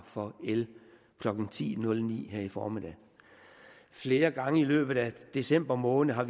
for el klokken ti nul ni her i formiddag flere gange i løbet af december måned har